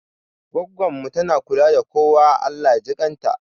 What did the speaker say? Goggon mu tana kula da kowa, Allah jikan ta